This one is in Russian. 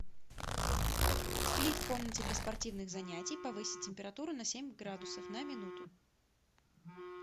сплит в комнате для спортивных занятий повысить температуру на семь градусов на минуту